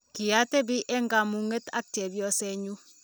kiatebi eng' kamung'et ak chepyosenyu